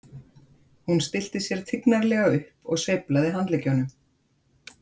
Hún stillti sér tignarlega upp og sveiflaði handleggjunum.